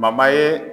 ye